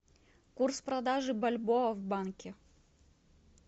курс продажи бальбоа в банке